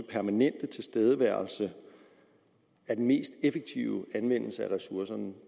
permanente tilstedeværelse er den mest effektive anvendelse af ressourcerne og